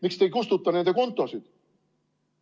Miks te ei kustuta nende kontosid?